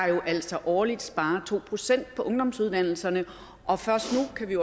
jo altså årligt sparer to procent på ungdomsuddannelserne og først nu kan vi